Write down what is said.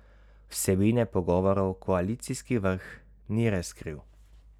Vsebine pogovorov koalicijski vrh ni razkril.